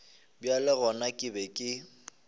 bjale gona ke be ke